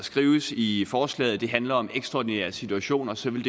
skrives i forslaget at det handler om ekstraordinære situationer så vil